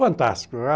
Fantástico!